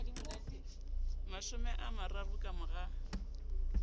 mashome a mararo ka mora